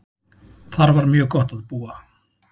Þar var mjög gott að búa.